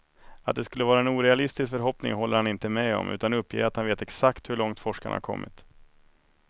Att det skulle vara en orealistisk förhoppning håller han inte med om, utan uppger att han vet exakt hur långt forskarna har kommit.